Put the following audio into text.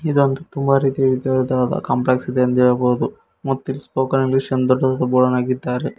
ಇದೊಂದು ತುಂಬ ರೀತಿ ವಿಧವಿಧವಾದ ಕಾಂಪ್ಲೆಕ್ಸ್ ಎಂದು ಹೇಳ್ಬೊದು ಮತ್ತ ಇಲ್ಲಿ ಸ್ಪೋಕನ್ ಇಂಗ್ಲಿಷ್ ಎಂದ ಬೋರ್ಡನ್ನ ಹಾಕಿದ್ದಾರೆ.